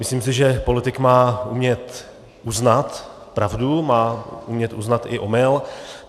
Myslím si, že politik má umět uznat pravdu, má umět uznat i omyl.